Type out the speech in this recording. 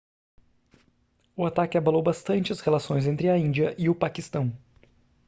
o ataque abalou bastante as relações entre a índia e o paquistão